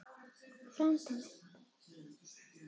Frændi minn!